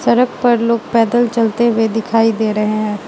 सड़क पर लोग पैदल चलते हुए दिखाई दे रहे हैं।